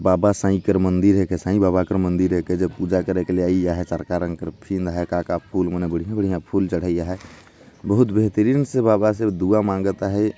बाबा साई कर मंदिर है कर साई बाबा कर मंदिर है की जो पूजा करे के का का फूल मन हे बड़िया - बड़िया फूल चढ़या है बहुत बेहतरीन से बाबा से दुआ मांगत हे।